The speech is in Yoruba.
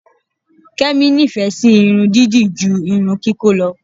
Kẹ́mi nífẹ̀ẹ́ sí irun dídì ju irun kíkó lọ.